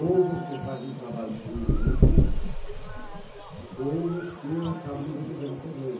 Ou você faz um trabalho em conjunto ou você acaba não resolvendo o problema.